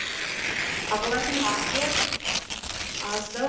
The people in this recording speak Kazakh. ағалардың ақылы аздау